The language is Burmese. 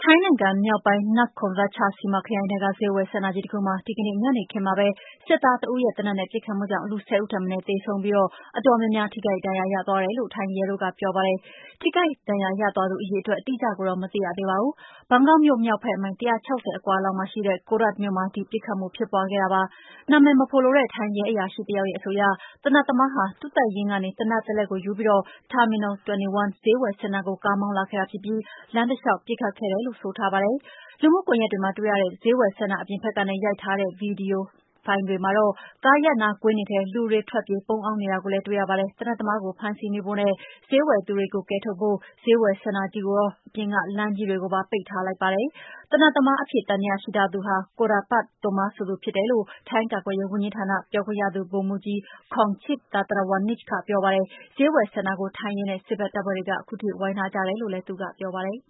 ိုင်းနိုင်ငံမြောက်ပိုင်း Nakhon Ratchasima ခရိုင်ထဲက ဈေးဝယ်စင်တာကြီးတခုမှာ ဒီကနေ့ ညနေခင်းမှာပဲ စစ်သားတဦးရဲ့ သေနတ်နဲ့ ပစ်ခတ်မှုကြောင့် လူ ၁၀ ဦးထက်မနည်း သေဆုံးပြီး အတော်များများ ထိခိုက်ဒဏ်ရာ ရသွားတယ်လို့ ထိုင်းရဲတို့က ပြောပါတယ်။ ထိခိုက်ဒဏ်ရာရသွားသူ အရေအတွက် အတိအကျကိုတော့ မသိရသေးပါဘူး။ ဘန်ကောက်မြို့မြောက်ဘက် မိုင် ၁၆၀ အကွာလောက်မှာရှိတဲ့ Korat မြို့မှာ ပစ်ခတ်မှု ဖြစ်ပွားခဲ့တာပါ။ နာမည်မဖော်လိုတဲ့ ထိုင်းရဲအရာရှိတယောက်ရဲ့ အဆိုအရ သေနတ်သမားဟာ သူ့တပ်ရင်းကနေ သေနတ်တလက်ကိုယူပြီး Terminal 21 ဈေးဝယ်စင်တာကို ကားမောင်းလာခဲ့တာဖြစ်ပြီး လမ်းတလျှောက် ပစ်ခတ်ခဲ့တယ်လို့ ဆိုပါတယ်။ လူမှုကွန်ရက်တွေမှာတွေ့ရတဲ့ ဈေးဝယ်စင်တာ အပြင်ဘက်ကနေ ရိုက်ထားတဲ့ ပစ်ခတ်မှု ဗွီဒီယိုဖိုင်တွေမှာတော့ ကားရပ်နားကွင်းတွေထဲ လူတွေ ထွက်ပြေးပုန်းအောင်းနေတာကို တွေ့ရပါတယ်။ သေနတ်သမားကို ဖမ်းဆီးမိဖို့နဲ့ ဈေးဝယ်သူတွေကို ကယ်ထုတ်ဖို့ ဈေးဝယ်စင်တာကိုရော အပြင်က လမ်းတွေကိုပါ ပိတ်ထားလိုက်ပါတယ်။ သေနတ်သမားအဖြစ် သံသယရှိထားသူဟာ Jakrapanth Thomma ဆိုသူဖြစ်တယ်လို့ ထိုင်းကာကွယ်ရေးဝန်ကြီးဌာန ပြောခွင့်ရ ဗိုလ်မှူးကြီး Kongcheep Tantrawanich က ပြောပါတယ်။ ဈေးဝယ်စင်တာကို ထိုင်းရဲနဲ့ စစ်ဘက်တပ်ဖွဲ့တွေ ဝိုင်းထားကြတယ်လို့လည်း သူကပြောပါတယ်